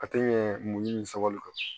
A tɛ ɲɛ muɲu ni sabali kan